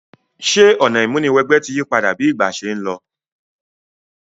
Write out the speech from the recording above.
Sè ọ̀nà ìmúniwẹgbẹ́ ti yípadà bi ìgbà se n lo?